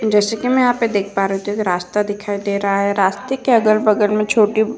जैसे कि मैं यहाँ पे देख पा रही हूँ तो यहाँ पे एक रास्ता दिखाई दे रहा है। रास्ते के अगल-बगल में छोटी --